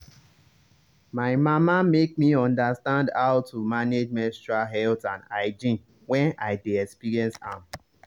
my mama make me understand how to manage menstrual health and hygiene when i dey experience am.